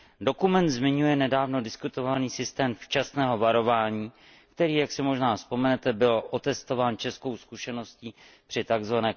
Dokument zmiňuje nedávno diskutovaný systém včasného varování, který, jak si možná vzpomenete, byl otestován českou zkušeností při tzv.